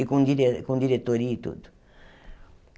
E com dire com diretoria e tudo.